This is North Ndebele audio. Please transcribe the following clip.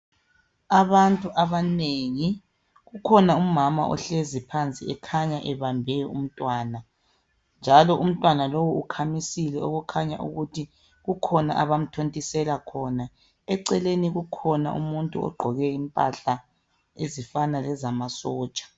Abantu abanengi, kukhona umama ohlezi phansi ekhanya ebambe umntwana njalo umntwana lo ukhamisile okukhanya ukuthi kukhona abamthontisela khona. Eceleni ukhona umuntu ogqoke impahla ezifana lezama sotsha.